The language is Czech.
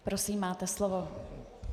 Prosím, máte slovo .